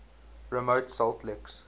remote salt licks